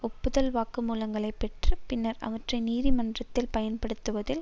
ஒப்புதல் வாக்குமூலங்களைப் பெற்று பின்னர் அவற்றை நீதிமன்றத்தில் பயன்படுத்துவதில்